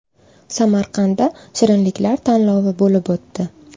Samarqandda shirinliklar tanlovi bo‘lib o‘tdi.